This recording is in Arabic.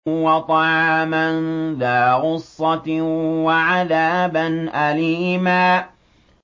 وَطَعَامًا ذَا غُصَّةٍ وَعَذَابًا أَلِيمًا